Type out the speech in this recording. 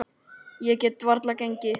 Ég get varla gengið.